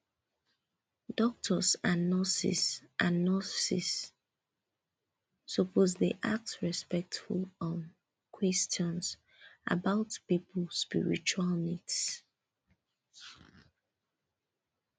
doctors and nurses and nurses suppose dey ask respectful um questions about people spiritual needs